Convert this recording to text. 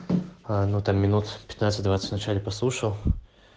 ну там минут пятнадцать двадцать в начале послушал